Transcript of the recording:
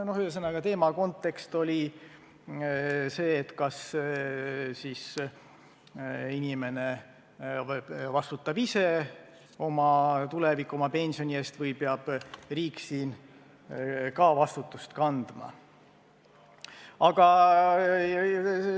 Ühesõnaga, kontekst oli see, et kas siis inimene vastutab ise oma tuleviku, oma pensioni eest või peab riik ka selle eest vastutust kandma.